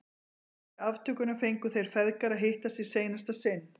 Kvöldið fyrir aftökuna fengu þeir feðgar að hittast í seinasta sinn.